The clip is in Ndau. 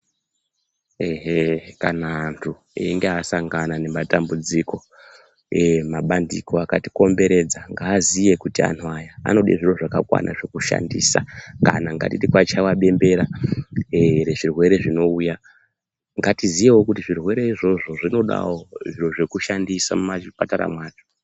Ehe kana antu einge asangana nematambudziko, mabandiko akatikomberedza ngaaziye kuti antu aya anode zviro zvakakwana zvekushandisa kana ngatiti kwachaiwa bemberera rezvirwere zvinouya ngatiziyewo kuti zvirwere izvozvo zvinodawo zviro zvekushandisa mumazvipatara mwacho.